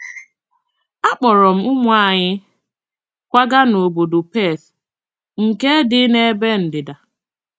Akpọọrọ m ụmụ anyị kwaga n’obodo Perth nke dị n’ebe ndịda.